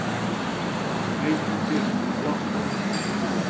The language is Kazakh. әй жігіттер құлақ салыңдар деді ол